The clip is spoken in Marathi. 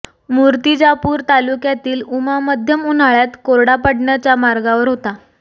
मूर्तिजापूर तालुक्यातील उमा मध्यम उन्हाळ्यात कोरडा पडण्याच्या मार्गावर होता